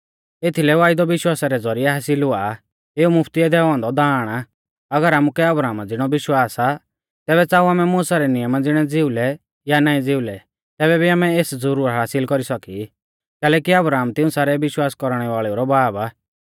एथीलै वायदौ विश्वासा रै ज़ौरिऐ हासिल हुआ एऊ मुफ्तिऐ दैऔ औन्दौ दाण आ अगर आमुकै अब्राहमा ज़िणौ विश्वास आ तैबै च़ाऊ आमै मुसा रै नियमा ज़िणै ज़िउलै या नाईं ज़िउलै तैबै भी आमै एस ज़ुरुर हासिल कौरी सौकी कैलैकि अब्राहम तिऊं सारै विश्वास कौरणै वाल़ेऊ रौ बाब आ